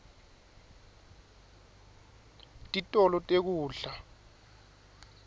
titolo tekudla